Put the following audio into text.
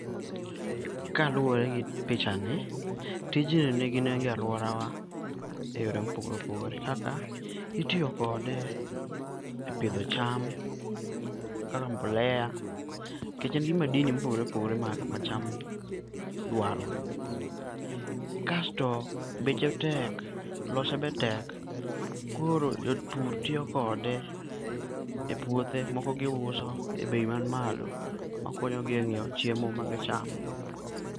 Kaluore gi pichani, tijninigi nengo e aluorawa e yore ma opogore opogore kaka iiyo kode e pidho cham kaka mole nikech en gi madini ma opogore opogore ma cham dwar. Kasto beche tek, lose be tek koro jopur tiyo kode e puothe moko giuso e bei man malo makonyogi e nyiew chiemo ma giuso